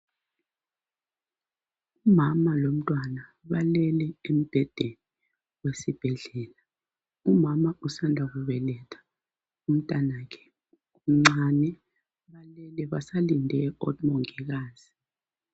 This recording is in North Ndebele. umama lomntwana balele embhedeni wesibhedlela umama usanda kubeletha umntanakhe umncane balele basalind o mongikazi